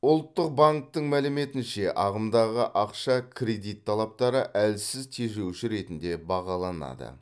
ұлттық банктің мәліметінше ағымдағы ақша кредит талаптары әлсіз тежеуші ретінде бағаланады